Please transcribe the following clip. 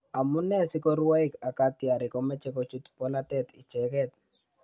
Amunee sikorwaik ak katyarik komechi kochut polatet icheket?